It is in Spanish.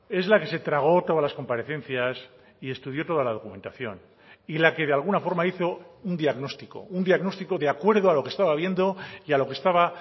es la que se tragó todas las comparecencias y estudió toda la documentación y la que de alguna forma hizo un diagnóstico un diagnóstico de acuerdo a lo que estaba viendo y a lo que estaba